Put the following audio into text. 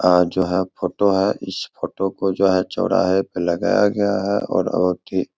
आ जो है फोटो है इस फोटो को जो है चौराहे पे लगाया गया है और औरते --